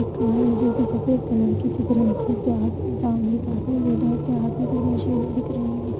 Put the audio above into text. एक कार है जो कि सफेद कलर की दिख रही है और उसके आस सामने एक आदमी बैठा है उसके हाथ में कुछ मशीने दिख रही है।